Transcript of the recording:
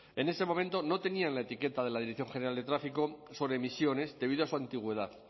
en este momento no tenían la etiqueta de la dirección general de tráfico sobre emisiones debidas a su antigüedad